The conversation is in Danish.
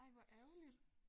Ej hvor ærgerligt